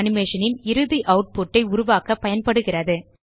animation ன் இறுதி output ஐ உருவாக்க பயன்படுகிறது